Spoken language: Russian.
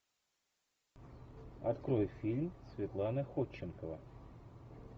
открой фильм светлана ходченкова